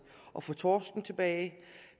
at få torsken tilbage